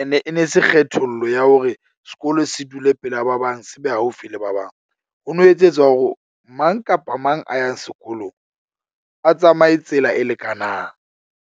Ene e ne se kgethollo ya hore sekolo se dule pela ba bang se be haufi le ba bang. Ho no etsetswa hore mang kapa mang a yang sekolong a tsamaye tsela e lekanang.